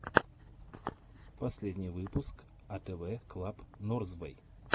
последний выпуск атэвэ клаб норзвэй